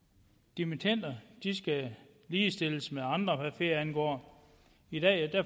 dimittender skal ligestilles med andre hvad ferie angår i dag